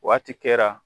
Waati kɛra